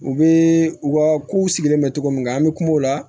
U bɛ u ka kow sigilen bɛ cogo min na an bɛ kuma o la